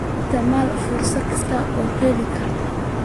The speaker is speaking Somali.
Isticmaal fursad kasta oo la heli karo.